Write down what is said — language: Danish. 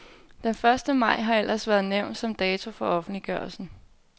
Den første maj har ellers været nævnt som dato for ofentliggørelsen.